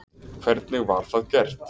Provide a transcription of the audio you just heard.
Hvernig var það gert?